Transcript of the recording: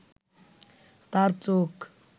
তাঁর চোখ